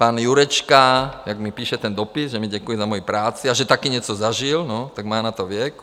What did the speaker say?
Pan Jurečka, jak mi píše - ten dopis, že mi děkuje za moji práci a že taky něco zažil - no, má na to věk.